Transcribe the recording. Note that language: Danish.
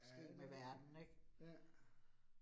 Ja men, ja